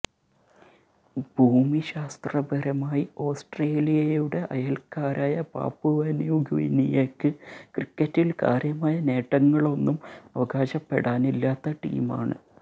ഭൂമിശാസ്ത്രപരമായി ഓസ്ട്രേലിയയുടെ അയല്ക്കാരായ പാപ്പുവന്യൂഗിനിയയ്ക്ക് ക്രിക്കറ്റില് കാര്യമായ നേട്ടങ്ങളൊന്നും അവകാശപ്പെടാനില്ലാത്ത ടീമാണ്